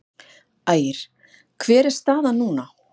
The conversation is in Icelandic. Ægir: Hver er staðan núna?